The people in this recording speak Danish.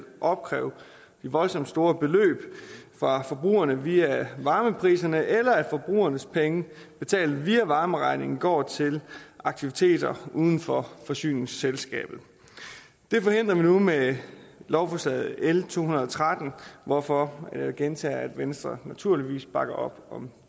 opkræve de voldsomt store beløb fra forbrugerne via varmepriserne eller at forbrugernes penge betalt via varmeregningen går til aktiviteter uden for forsyningsselskabet det forhindrer vi nu med lovforslag nummer l to hundrede og tretten hvorfor jeg gentager at venstre naturligvis bakker op om